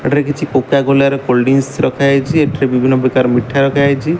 ଏଠାରେ କିଛି କୋକାକୋଲା ର କୋଲଡଡ୍ରିଂକ୍ସ ରଖାହେଇଚି। ଏଠାରେ ବିଭିନ୍ନ ପ୍ରକାର ମିଠା ରଖାହେଇଚି।